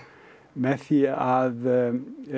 með því að